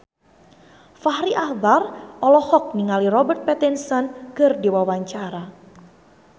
Fachri Albar olohok ningali Robert Pattinson keur diwawancara